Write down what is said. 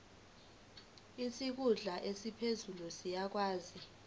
isikhulu esiphezulu siyakwazi